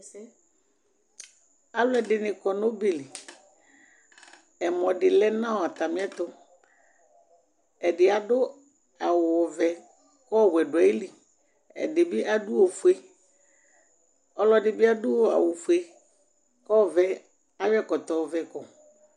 alʊɛdɩnɩ dʊ ɔbɛ li, utuvegele dɩ lɛ nʊ atamiɛtʊ, ɛdɩ adʊ awu vɛ kʊ ɔwɛ dʊ ayili, ɛdɩbɩ adʊ ofue, ɛdɩ bɩ adʊ awufue kʊ ayɔ ɛkɔtɔ ɔvɛ yɔ kɔ